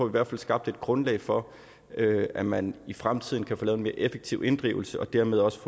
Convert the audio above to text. hvert fald skabt et grundlag for at man i fremtiden kan få lavet en mere effektiv inddrivelse og dermed også